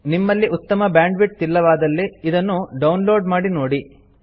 ನಿಮ್ಮಲ್ಲಿ ಉತ್ತಮ ಬ್ಯಾಂಡ್ವಿಡ್ತ್ ಇಲ್ಲವಾದಲ್ಲಿ ಇದನ್ನು ಡೌನ್ ಲೋಡ್ ಮಾಡಿ ನೋಡಿ